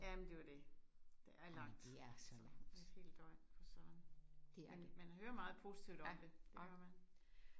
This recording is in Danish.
Jamen det jo det. Der er langt alt et helt døgn for Søren. Man man hører meget positivt om det det gør man